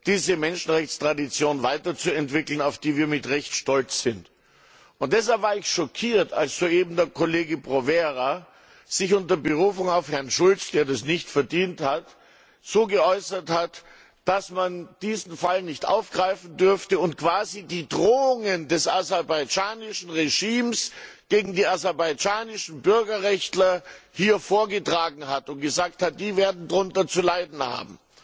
diese Menschenrechtstradition weiter zu entwickeln, auf die wir mit Recht stolz sind. Deshalb war ich schockiert, als soeben der Kollege Provera sich unter Berufung auf Herrn Schulz, der das nicht verdient hat, so geäußert hat, dass man diesen Fall nicht aufgreifen dürfe und quasi die Drohungen des aserbaidschanischen Regimes gegen die aserbaidschanischen Bürgerrechtler hier vorgetragen hat und gesagt hat Die werden darunter zu leiden haben.